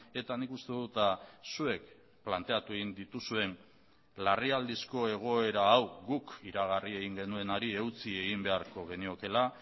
eta nik uste dut zuek planteatu egin dituzuen larrialdizko egoera hau guk iragarri egin genuenari eutsi egin beharko geniokeela